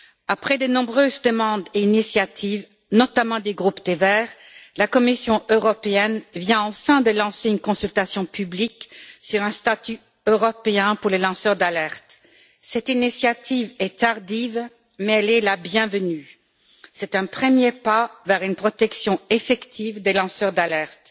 Après de nombreuses demandes et initiatives, notamment du groupe des Verts, la Commission européenne vient enfin de lancer une consultation publique sur un statut européen pour les lanceurs d'alerte. Cette initiative est tardive, mais elle est la bienvenue. C'est un premier pas vers une protection effective des lanceurs d'alerte.